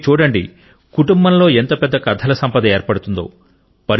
మీరు చూడండి కుటుంబంలో ఎంత పెద్ద కథల సంపద ఏర్పడుతుందో